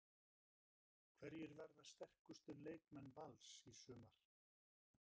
Hverjir verða sterkustu leikmenn Vals í sumar?